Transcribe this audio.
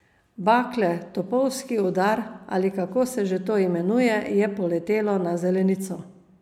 Bakle, topovski udar, ali kako se že to imenuje, je poletelo na zelenico.